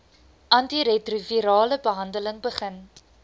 antiretrovirale behandeling begin